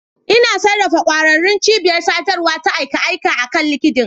Ina sarrafa ƙwararrun cibiyar sadarwa ta a kai a kai akan LinkedIn.